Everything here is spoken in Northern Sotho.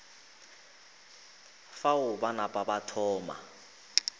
fao ba napa ba thoma